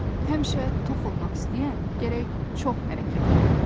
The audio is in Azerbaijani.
Həmişə toxunmaq istəyən gərək çox hərəkət edə.